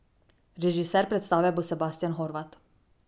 Režiser predstave bo Sebastijan Horvat.